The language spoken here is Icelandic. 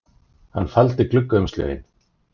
Hann faldi gluggaumslögin